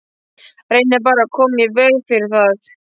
Reynið bara að koma í veg fyrir það.